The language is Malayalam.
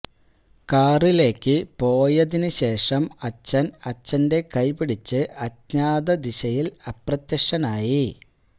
കാറിലേയ്ക്ക് പോയതിന് ശേഷം അച്ഛൻ അച്ഛന്റെ കൈ പിടിച്ച് അജ്ഞാത ദിശയിൽ അപ്രത്യക്ഷനായി